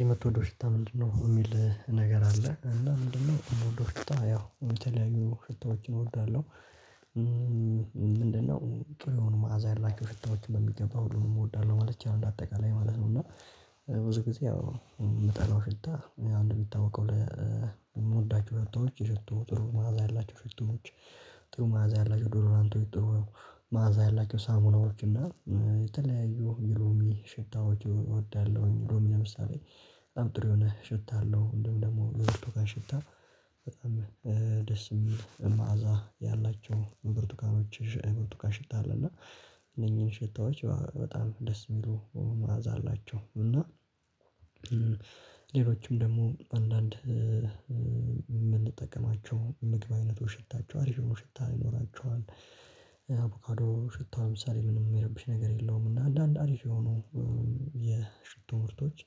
የምትወደው ሽታ ምንድነው? የሚል ነገር አለ እና ምንድነው የምወደው ሽታ ያው የተለያዩ ሽታዎችን እወዳለሁ። ምንድነው ጥሩውን ማዕዛ ያላቸው ሽታዎችን በሚገባ ሁሉንም እወዳለሁ ማለት ይቻላል። አጠቃላይ ማለት ነው። እና ብዙ ጊዜ የምጠላው ሽታ አንድ ሚታወቀው የምወዳቸው ሽቶዎች የሽቶ ጥሩ መዓዛ ያላቸው ሽቶዎች። ጥሩ መዓዛ ያላቸው ዶዶራንቶች ጥሩ መዓዛ ያላችውሳሙናዎች እና የተለያዩ የሎሚ ሽታዎች እወዳለሁኝ። ሎሚ ለምሳሌ በጣም ጥሩ የሆነ ሽታ አለው እንዲሁም ደግሞ የብርቱካን ሽታ። በጣም ደስ የሚል መዓዛ ያላቸው ብርቱካኖች የብርቱካ ሽታ አለ። እና እነኚህን ሽታዎች በጣም ደስ የሚሉ መዓዛ አላቸው። እና ሌሎችም ደግሞ አንዳንድ የምንጠቀማቸው ምግብ አይነቶች ሽታቸው አሪፍ የሆኑ ሽታ ይኖራቸዋል። አቮካዶ ሽታ ለምሳሌ ምንም የሚረብሽ ነገር የለውም። እና አንዳንድ አሪፍ የሆኑ የሽቶ ምርቶች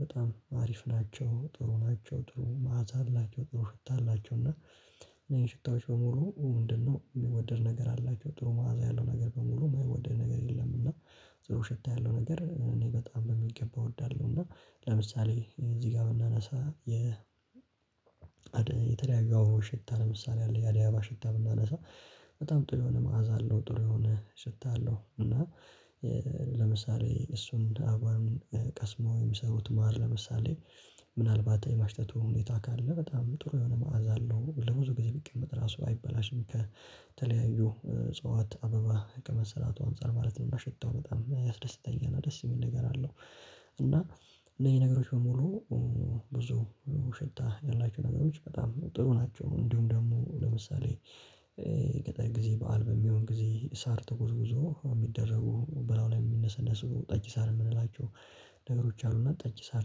በጣም አሪፍ ናቸው። ጥሩ ናቸው ጥሩ መዓዛ አላቸው ጥሩ ሽታ አላቸው። እና እነኝህ ሽታዎች በሙሉ ምንድነው የሚወደድ ነገር አላቸው ጥሩ መዓዛ ያለው ነገር በሙሉ የማይወደድ ነገር የለም። እና ጥሩ ሸታ ያለው ነገር እኔ በጣም በሚገባ እወዳለሁ። እና ለምሳሌ እዚህ ጋር ብናነሳ የ የተለያዬ የአባዎዎች ሽታ ለምሳሌ አለ የአደይ አበባ ሽታ ብናነሳ በጣም ጥሩ የሆነ መዓዛ አለው። ጥሩ የሆነ ሽታ አለው እና ለምሳሌ እሱን አበባውን ቀስመው የሚሰሩት ማር ለምሳሌ ምናልባት የማሽታቱ ሁኔታ ካለ በጣም ጥሩ የሆነ መዓዛ አለው ለብዙ ጊዜ ቢቀመጥ ራሱ አይበላሽም። ከተለያዩ እጽዋት አበባ ከመሰራቱ አንፃር ማለት ነው። እና ሽታው በጣም ያስደስተኛል ና ደስ የሚል ነገር አለው። እና እነዚህ ነገሮች በሙሉ ብዙ ሽታ ያላቸው ነገሮች በጣም ጥሩ ናቸው። እንዲሁም ደግሞ ለምሳሌ ገጠር ጊዜ በዓል በሚሆን ጊዜ ሳር ተጎዝጉዞ የሚደረጉ በላዩ ላይ የሚነሰነሱ ጠጅ ሳር የምንላቸው ነገሮች አሉና ጠጅ ሳር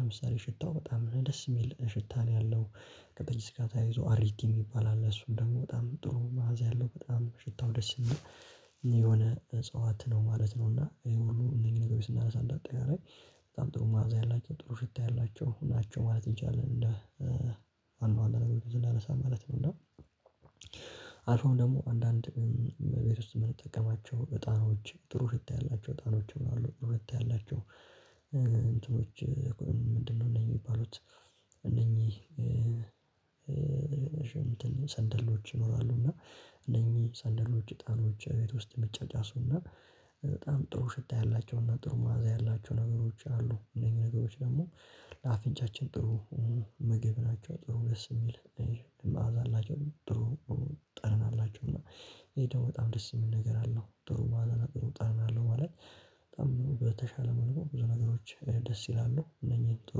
ለምሳሌ ሽታው በጣም ደስ የሚል ሽታ ነው ያለው። ከጠጅ ሳር ጋር ተያይዞ አሪቲ የሚባል አለ እሱም ደግሞ በጣም ጥሩ መዓዛ ያለው በጣም ሽታው ደስ የሚል የሆነ እፅዋት ነው ማለት ነው። እና ይሄ ሁሉ እነዚኝህ ነገሮች ስናነሳ እንዳጠቃላይ በጣም ጥሩ መዓዛ ያላቸው ጥሩ ሽታ ያላቸው ናቸው ማለት እንችላለን። እንደ ዋና ዋና ነገሮች ስናነሳሀሀ ማለት ነው። አልፎም ደግሞ አንዳንድ እቤት ውስጥ የምንጠቀማቸው እጣኖች ጥሩ ሽታ ያላቸው እጣኖችም አሉ ጥሩነት ያላቸው። እንትኖች ምንድነው እነኚህ ምንድነው የሚባሉት? እነኚህ ሰንደሎች ይኖራሉ። እና እነኚህ ሰንደሎች እጣኖች ቤት ውስጥ የሚጫጫሱ እና በጣም ጥሩ ሽታ ያላቸው እና ጥሩ መዓዛ ያላቸው ነገሮች አሉ። እነኚህ ነገሮች ደግሞ ለአፍንጫችን ጥሩ ምግብ ናቸው ጥሩ ደስ የሚል መዓዛ አላቸው። ጥሩ ጠረን አላቸው። እና ይሄ ደግሞ በጣም ደስ የሚል ነገር አለው ጥሩ መዓዛና ጥሩ ጣዕም አለው። ማለት በጣም በተሻለ መልኩ ብዙ ነገሮች ደስ ይላሉ እነኚህን ጥሩ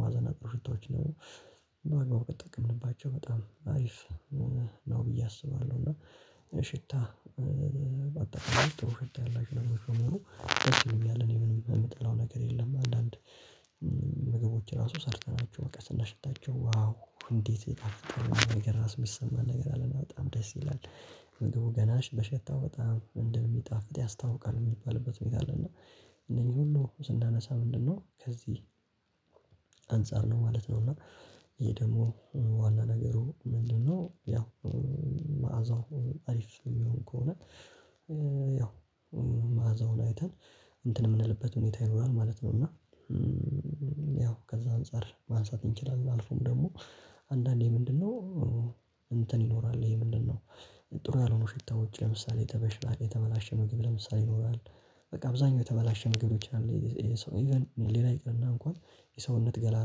መዓዛና ጥሩ ሽታዎች። በአግባቡ ከተጠቀምንባቸው በጣም አሪፍ ነው ብዬ አስባለሁ። እና ሽታ በአጠቃላይ ጥሩ ሽታ ያላችሁ ነገሮች በሙሉ ደስ ይሉኛል እኔ ምንም የምጠላው ነገር የለም። አንዳንድ ምግቦች ራሱ ሰርተናቸው በቃ ስናሸታቸው ዋው እንዴት የጣፈጠ ነገር ራስ የሚሰማን ነገር አለና በጣም ደስ ይላል። ምግቡ ገና በሸታው በጣም እንደሚጣፍጥ ያስታውቃል የሚባልበት ሁኔታ አለ። እና እነኚህ ሁሉ ስናነሳ ምንድነው ከዚህ አንፃር ነው ማለት ነው። እና ይሄ ደግሞ ዋና ነገሩ ምንድነው ያው መዓዛው አሪፍ የሚሆን ከሆነ ያው መዓዛውን አይተን እንትን የምንልበት ሁኔታ ይኖራል ማለት ነው። እና ያው ከዛ አንፃር ማንሳት እንችላለን። አልፎም ደግሞ አንዳንዴ ምንድነው እንትን ይኖራል ይሄ ምንድነው ጥሩ ያልሆኑ ሽታዎች ለምሳሌ የተባላሸ ምግብ ለምሳሌ ይኖራል በቃ አብዛኛው የቸበላሸ ሊሆን ይችላል። ኢቭን ሌላው ይቅርና እንኳን የሰውነት ገላ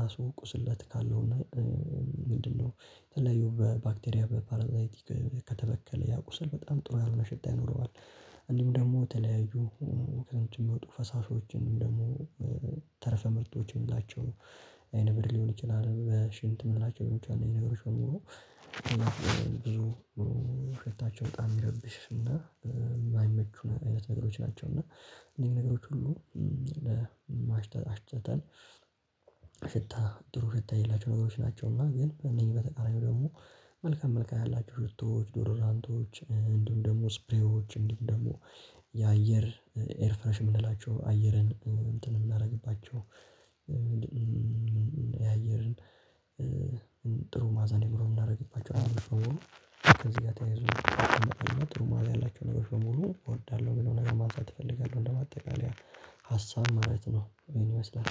ራሱ ቁስለት ካለው እና ምንድነው የተለያዩ በባክቴሪያ በፓራሳይቲክ ከተበከለ ያ ቁስል በጣም ጥሩ ያልሆነ ሸታ ይኖረዋል። እንዲሁም ደግሞ ተለያዩ ከዛ የሚወጡ ፈሳሾችን ወይም ደግሞ ተረፈ ምርቶችን የምላቸው አይነ ምድር ሊሆን ይችላል። ሽንት የምንላቸው ሊሆን ይችላል እነኚህ ነገሮች በሙሉ ብዙ ሸታቸው በጣም የሚረብሽና የማይመቹ አይነት ነገሮች ናቸው። እና እነኚህ ነገሮች ሁሉ ለማሽተታ አሽትተን ጥሩ ሽታ የሌላቸው ነገሮች ናቸው። እና ግን ከእነኚህ በተቃራኒው ደግሞ መልካም መልካም ያላቸው ሽቶዎች ዶደራንቶች እንዲሁም ደግሞ እስፕሬዎች እንዲሁም ደግሞ የአየር ኤርፍረሽ የምንላቸው አየርን እንትን የምናደርግባቸው የአየርን ጥሩ መዓዛ እንዲኖረው የምናደርግባቸው ነገሮች በሙሉ ከዚህ ጋር ተያይዞ አቅም አለና ጥሩ መዓዛ ያላቸው ነገሮች በሙሉ እወዳለሁ። ብሎ ነገር ማንሳት እፈልጋለሁ እንደ ማጠቃለያ ሀሳብ ማለት ነው ይሆን ይመስላል።